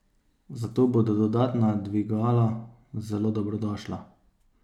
Zato bodo dodatna dvigala zelo dobrodošla.